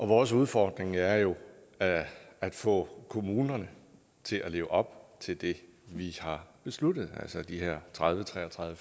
vores udfordring er jo at få kommunerne til at leve op til det vi har besluttet altså de her tredive tre og tredive